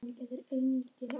Einörð og föst fyrir.